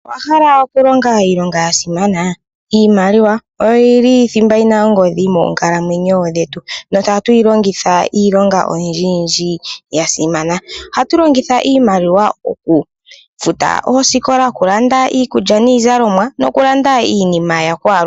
Owahala okulonga iilonga yasimana? Iimaliwa oyiki thimba amanga ongodhi moonkalamwenyo dhetu, shaashi ohatu yilongitha iilonga oyindji yindji ya simana . Ohatu longitha iimaliwa okufuta oosikola, okulanda iikulya niizalomwa, nokulanda iinima yakwalu kehe.